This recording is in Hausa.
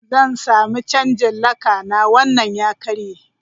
Zan samu canjin laka na, wannan ya karye.